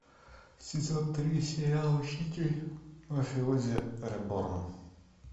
сезон три сериал учитель мафиози реборн